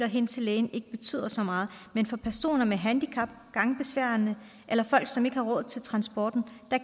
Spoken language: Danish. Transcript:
hen til lægen ikke betyder så meget men for personer med handicap gangbesværede eller folk som ikke har råd til transporten